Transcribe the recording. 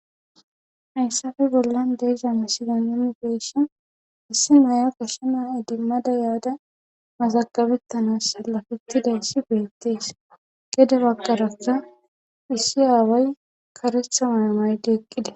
Hayssafe bollan deeza misida nimifeeshin issi naya gashemai dimmada yaada mazagabettanas salafettidayssi geyettees gede bagqarata issi aaway karetha oomayde eqqida.